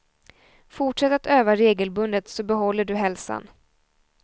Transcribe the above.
Fortsätt att öva regelbundet, så behåller du hälsan.